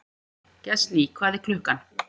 Gestný, hvað er klukkan?